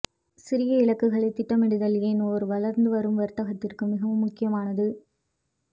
சிறிய இலக்குகளை திட்டமிடுதல் ஏன் ஒரு வளர்ந்து வரும் வர்த்தகத்திற்கு மிகவும் முக்கியமானது